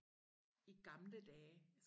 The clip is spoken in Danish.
i gamle dage